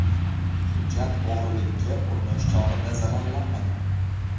Hujjat o‘g‘rilikka urinish chog‘ida zararlanmagan.